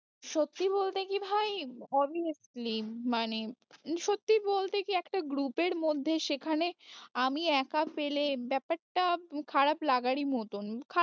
সত্যি বলতে কি ভাই obviously মানে, সত্যি বলতে কি একটা group এর মধ্যে সেখানে আমি একা পেলে ব্যাপারটা খারাপ লাগারি মতন